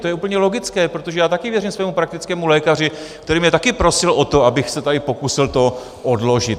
To je úplně logické, protože já taky věřím svému praktickému lékaři, který mě taky prosil o to, abych se tady pokusil to odložit.